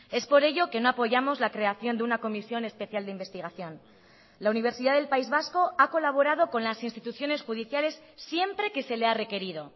es por ello que no apoyamos la creación de una comisión especial de investigación la universidad del país vasco ha colaborado con las instituciones judiciales siempre que se le ha requerido